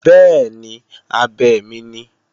Bẹ́ẹ̀ni, abẹ mi ni